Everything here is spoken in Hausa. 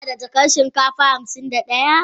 Kana da jakan shinkafa hamsin da daya?